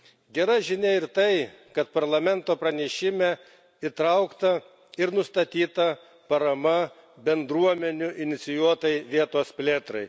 Gera žinia ir tai, kad Parlamento pranešime įtraukta ir nustatyta parama bendruomenių inicijuotai vietos plėtrai.